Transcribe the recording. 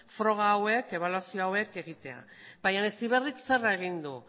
froga hauek ebaluazio hauek egitea baina heziberrik zer egin du